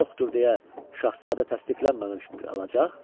yoxdur deyə şahzadə təsdiqlənməmiş qalacaq?